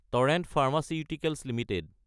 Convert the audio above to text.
torrent pharmaceuticals Ltd